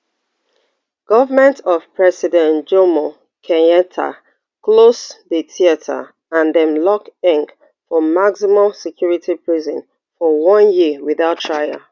goment of president jomo kenyatta close di theatre and dem lock ngg for maximum security prison for one year without trial